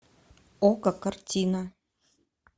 окко картина